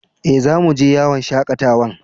Eh, zamu je yawon shakatawan.